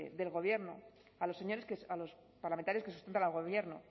del gobierno a los parlamentarios que sustentan al gobierno